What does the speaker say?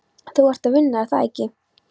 Þú ert að vinna, er það ekki?